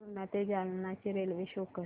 पूर्णा ते जालना ची railway show कर